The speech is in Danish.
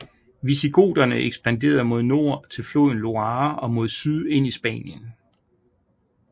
Visigoterne ekspanderede mod nord til floden Loire og mod syd ind i Spanien